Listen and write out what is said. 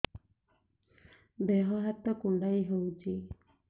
ଦେହ ହାତ କୁଣ୍ଡାଇ ହଉଛି